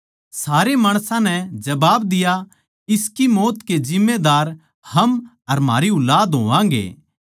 सारे माणसां नै जबाब दिया इसकी मौत के जिम्मेदार हम अर म्हारी ऊलाद होवांगे